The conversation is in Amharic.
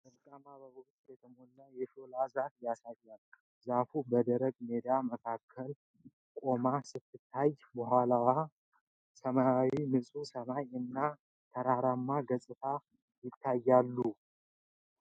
በወርቃማ አበባዎች የተሞላች የሾላ ዛፍ ያሳያል። ዛፏ በደረቅ ሜዳ መካከል ቆማ ስትታይ፣ ከኋላዋ ሰማያዊ ንጹህ ሰማይ እና ተራራማ ገጽታ ይታያል።